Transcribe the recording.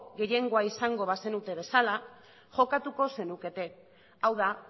gehiengo izango bazenute bezala jokatuko zenukete hau da